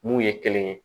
Mun ye kelen ye